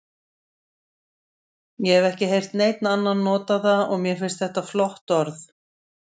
Ég hef ekki heyrt neinn annan nota það og mér finnst þetta flott orð.